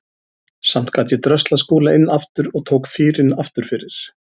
Samt gat ég dröslað Skúla inn aftur og tók fýrinn aftur fyrir.